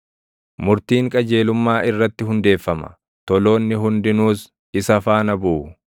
Murtiin qajeelummaa irratti hundeeffama; toloonni hundinuus isa faana buʼu.